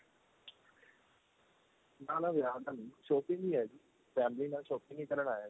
ਨਾ ਨਾ ਵਿਆਹ ਦਾ ਨੀਂ shopping ਈ ਏ ਜੀ family ਨਾਲ shopping ਹੀ ਕਰਨ ਆਇਆ ਜੀ